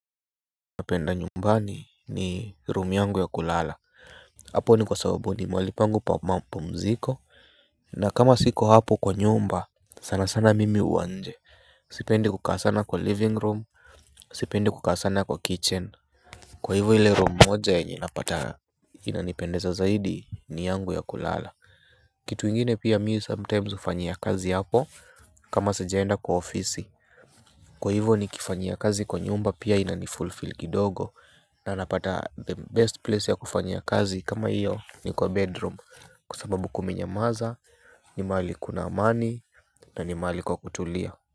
Napenda nyumbani ni room yangu ya kulala, hapo ni kwa sababu ni mahali pangu pa mapumziko, na kama siko hapo kwa nyumba, sana sana mimi huwa nje, sipendi kukaa sana kwa living room, sipendi kukaa sana kwa kitchen. Kwa hivo ile room moja yenye napata inanipendeza zaidi ni yangu ya kulala. Kitu ingine pia mimi sometimes hufanyia kazi hapo kama sijaenda kwa ofisi. Kwa hivyo nikifanyia kazi kwa nyumba pia inanifulfill kidogo na napata the best place ya kufanyia kazi kama hiyo ni kwa bedroom kwa sababu kumenyamanza, ni mahali kuna amani na ni mahali kwa kutulia.